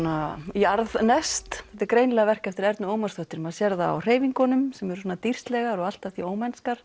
jarðneskt þetta er greinilega verk eftir Ernu Ómarsdóttur maður sér það á hreyfingunum sem eru dýrslegar og allt að því